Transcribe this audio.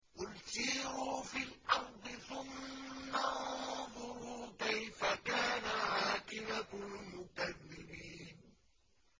قُلْ سِيرُوا فِي الْأَرْضِ ثُمَّ انظُرُوا كَيْفَ كَانَ عَاقِبَةُ الْمُكَذِّبِينَ